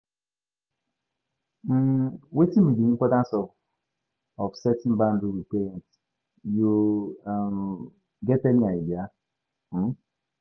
um Wetin be di importance of of setting boundaries with parents, you um get any idea? um